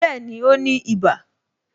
Bẹẹni, ó ní iba